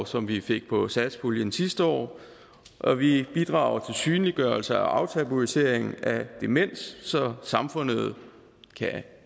som vi fik på satspuljen sidste år og vi bidrager synliggørelse og aftabuisering af demens så samfundet